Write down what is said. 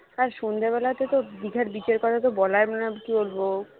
আর সন্ধ্যা বেলাতে তো দিঘার beach কথা বলা কি বলবো